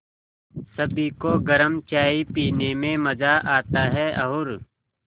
सभी को गरम चाय पीने में मज़ा आता है और